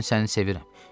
Mən səni sevirəm.